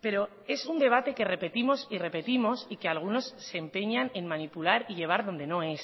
pero es un debate que repetimos y repetimos y que algunos se empeñan en manipular y llevar donde no es